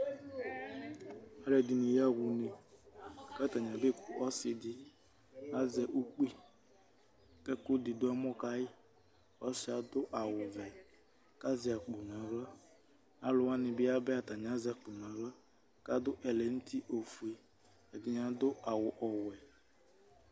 Alʋ ɛdɩnɩ yaɣa une ; k ' atanɩ abe ku ɔsɩ dɩ azɛ ukpi, k' ɛkʋ dɩ dʋ ɛmɔ kayɩƆsɩɛ adʋ awʋ vɛ k' azɛ akpo naɣla, alʋ wanɩ bɩ yaba yɛ ata bɩ azɛ akpo naɣla, kadʋ ɛlɛ nuti, ɛdɩnɩ adʋ awʋ ɔwɛ